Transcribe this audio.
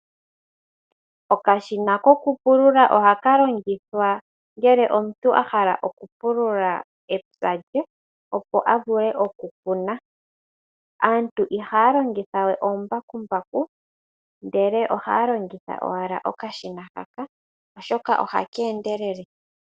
Okadhina kokupulula oha ka longithwa ngele omuntu a hala okupulula epya lye, opo a vule okukuna. Aantu ihaya longitha we oombakumbaku ndele ohaya longitha owala okashina haka, oshoka ohaka endelele.